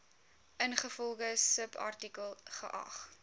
ingevolge subartikel geag